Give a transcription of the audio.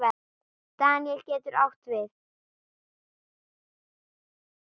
Daníel getur átt við